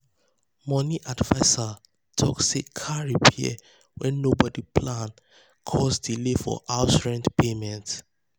money adviser talk say car repair wey nobody plan cause delay for house rent payment.